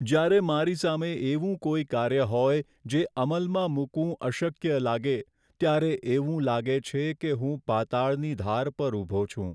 જ્યારે મારી સામે એવું કોઈ કાર્ય હોય જે અમલમાં મૂકવું અશક્ય લાગે ત્યારે એવું લાગે છે કે હું પાતાળની ધાર પર ઊભો છું.